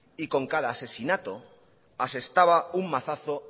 y con cada asesinato asestaba un mazazo